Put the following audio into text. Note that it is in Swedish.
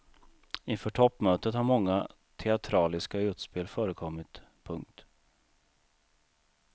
Inför toppmötet har många teatraliska utspel förekommit. punkt